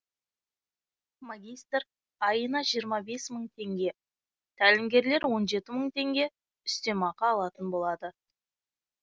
магистр айына жиырма бес мың теңге тәлімгерлер он жеті мың теңге үстемақы алатын болады